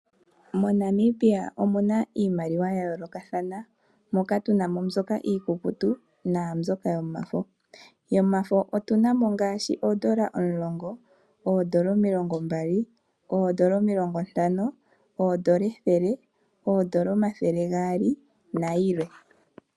MoNamibia omu na iimaliwa ya yoolokathana moka tu na mo mbyoka iikukutu naambyoka yomafo. Yomafo otu na mo ngaashi oodola omulongo, oodola omilongombali, oodola omilongontano, oodola ethele, oodola omathele gaali nayilwe.